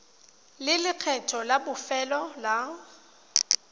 le lekgetho la bofelo la